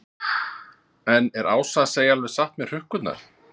En er Ása að segja alveg satt með hrukkurnar?